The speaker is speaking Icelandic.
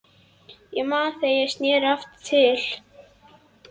Ég man þegar ég sneri aftur til